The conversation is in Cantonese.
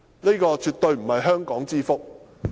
這絕對不是香港之福。